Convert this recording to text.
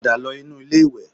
Padà lọ inú ilé-ìwẹ̀